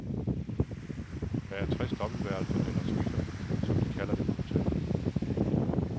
Der er tres dobbeltværelser, eller suiter som de kalder det på hotellet.